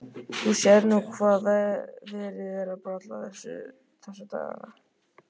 Þú sérð nú hvað verið er að bralla þessa dagana.